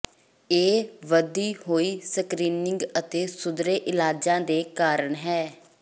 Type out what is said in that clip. ਇਹ ਵਧੀ ਹੋਈ ਸਕ੍ਰੀਨਿੰਗ ਅਤੇ ਸੁਧਰੇ ਇਲਾਜਾਂ ਦੇ ਕਾਰਨ ਹੈ